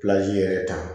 yɛrɛ ta